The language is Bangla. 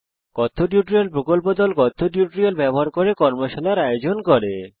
কথ্য টিউটোরিয়াল প্রকল্প দল কথ্য টিউটোরিয়াল ব্যবহার করে কর্মশালার আয়োজন করে